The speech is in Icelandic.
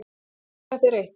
Á ég að segja þér eitt?